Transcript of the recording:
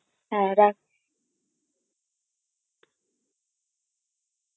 হ্যাঁ রাখছি.